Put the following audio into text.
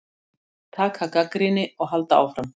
Taka gagnrýni og halda áfram.